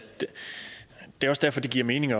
det giver mening